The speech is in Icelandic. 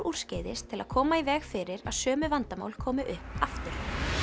úrskeiðis til að koma í veg fyrir að sömu vandamál komi upp aftur